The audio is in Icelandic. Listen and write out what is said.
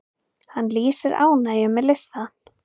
Hann lýsir ánægju með listann.